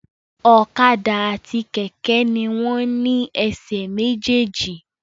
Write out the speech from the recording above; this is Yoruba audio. Ọ̀kadà àti kẹ̀kẹ́ ni wọ́n ní ẹsẹ̀ méjì méjì